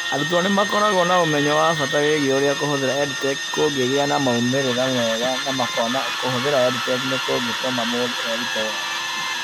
Arutwo nĩ makoragwo na ũmenyo wa bata wĩgiĩ ũrĩa kũhũthĩra EdTech kũngĩgĩa na moimĩrĩro mega na makona atĩ kũhũthĩra EdTech nĩ kũngĩtũma mũndũ erute wega.